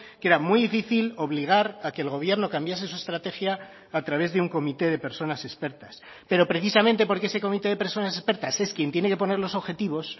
que era muy difícil obligar a que el gobierno cambiase su estrategia a través de un comité de personas expertas pero precisamente porque ese comité de personas expertas es quien tiene que poner los objetivos